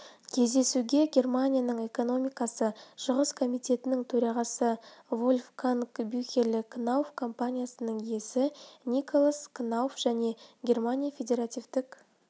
кездесуге германия экономикасы шығыс комитетінің төрағасы вольфганг бюхеле кнауф компаниясының иесі николас кнауф және германия федеративтік